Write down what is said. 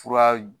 Fura